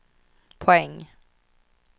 poäng